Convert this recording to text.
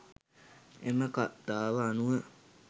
එම කථාව අනුව